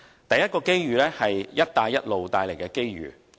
第一個機遇是"一帶一路"帶來的機遇。